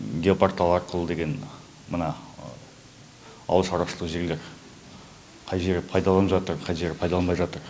геопортал арқылы деген мына ауылшарушылық жерлер қай жері пайдаланып жатыр қай жері пайдаланбай жатыр